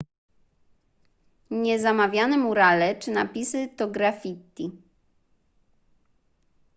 niezamawiane murale czy napisy to graffiti